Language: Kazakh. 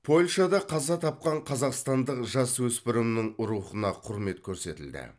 польшада қаза тапқан қазақстандық жасөспірімнің рухына құрмет көрсетілді